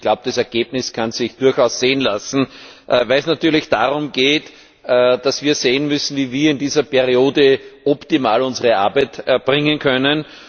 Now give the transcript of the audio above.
Ich glaube, das Ergebnis kann sich durchaus sehen lassen, weil es darum geht, dass wir sehen müssen, wie wir in dieser Periode optimal unsere Arbeit erbringen können.